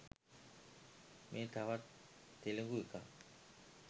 මේ තවත් තෙළිගු එකක්.